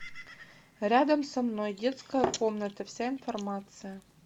рядом со мной детская комната вся информация